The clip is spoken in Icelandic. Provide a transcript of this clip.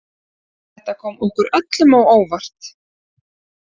Þetta kom okkur öllum á óvart